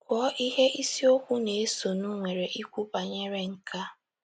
Gụọ ihe isiokwu na - esonụ nwere ikwu banyere nke a.